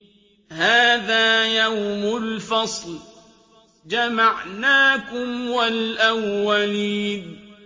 هَٰذَا يَوْمُ الْفَصْلِ ۖ جَمَعْنَاكُمْ وَالْأَوَّلِينَ